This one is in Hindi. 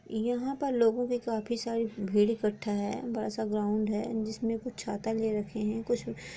यहाँ पर लोगों की काफी सारी भीड़ इकट्ठा है बड़ा सा ग्राउन्ड है जिसमें कुछ छाता लिए रखे है कुछ--